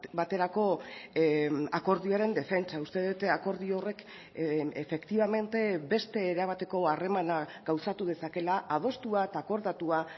baterako akordioaren defentsa uste dut akordio horrek efectivamente beste erabateko harremana gauzatu dezakeela adostua eta akordatua